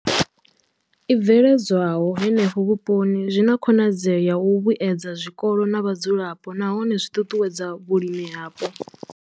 I bveledzwaho henefho vhuponi zwi na khonadzeo ya u vhuedza zwikolo na vhadzulapo nahone zwi ṱuṱuwedza vhulimi hapo.